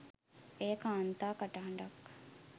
එය කාන්තා කටහඬක්